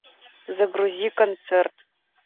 загрузи концерт